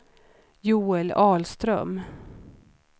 Joel Ahlström